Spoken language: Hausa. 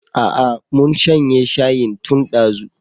Aa mun shanye shayin tun dazu